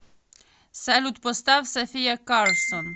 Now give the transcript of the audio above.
салют поставь софия карсон